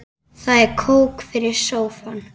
Það er kók fyrir sófann.